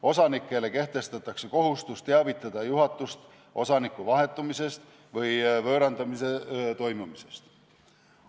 Osanikele kehtestatakse kohustus teavitada juhatust osaniku vahetumisest või võõrandamise toimumisest.